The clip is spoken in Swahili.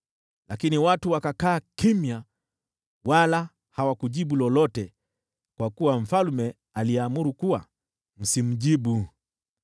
Lakini wale watu wakakaa kimya, wala hawakujibu lolote, kwa kuwa mfalme alikuwa amewaamuru, “Msimjibu lolote.”